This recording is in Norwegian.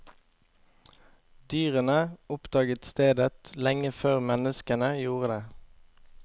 Dyrene oppdaget stedet lenge før menneskene gjorde det.